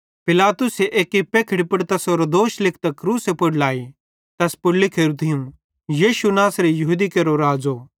पिलातुसे एक्की पेखड़ी पुड़ तैसेरो दोष लिखतां क्रूसे पुड़ लाई तैस पुड़ लिखोरू थियूं यीशु नासरी यहूदी केरो राज़ो